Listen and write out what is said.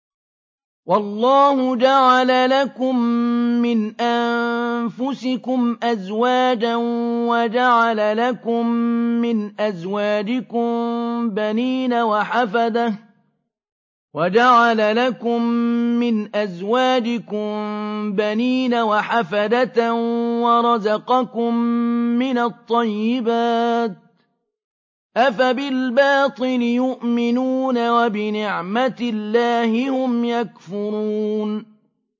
وَاللَّهُ جَعَلَ لَكُم مِّنْ أَنفُسِكُمْ أَزْوَاجًا وَجَعَلَ لَكُم مِّنْ أَزْوَاجِكُم بَنِينَ وَحَفَدَةً وَرَزَقَكُم مِّنَ الطَّيِّبَاتِ ۚ أَفَبِالْبَاطِلِ يُؤْمِنُونَ وَبِنِعْمَتِ اللَّهِ هُمْ يَكْفُرُونَ